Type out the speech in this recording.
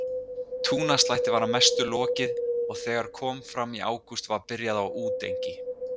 Túnaslætti var að mestu lokið og þegar kom fram í ágúst var byrjað á útengi.